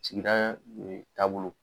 Sigida ee taabolo .